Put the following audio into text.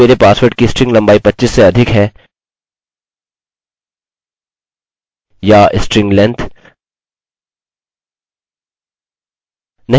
मैं लिखता हूँ if password equals equals to repeat password तो कोड के बड़े ब्लॉक के साथ जारी रहें